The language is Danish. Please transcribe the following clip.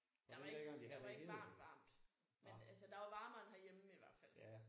Der var ikke der var ikke varmt varmt. Men altså der var varmere end herhjemme i hvert fald